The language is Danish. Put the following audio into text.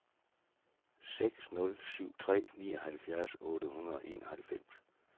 seks nul syv tre nioghalvfjerds otte hundrede og enoghalvfems